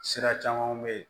Sira camanw be yen